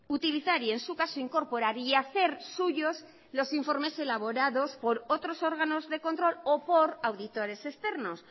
utilizar y en su caso incorporar y hacer suyos los informes elaborados por otros órganos de control o por auditores externos